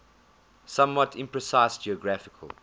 somewhat imprecise geographical